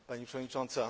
Pani przewodnicząca!